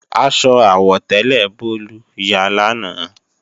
Aṣọ àwọ̀tẹ́lẹ̀ Bólú ya lánàá